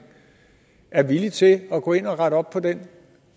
er villig til at gå ind og rette op på den